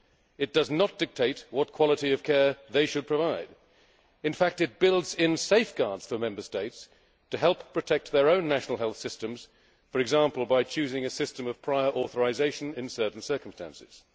It does not dictate what quality of care they should provide. In fact, it builds in safeguards for Member States to help protect their own national health systems, for example by choosing a system of prior authorisation in certain circumstances.